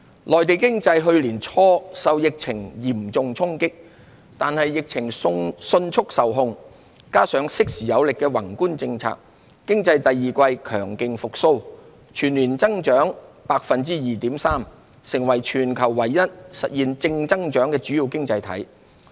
內地經濟去年初受疫情嚴重衝擊，但疫情迅速受控，加上適時有力的宏觀政策，經濟自第二季強勁復蘇，全年計增長 2.3%， 成為全球唯一實現正增長的主要經濟體。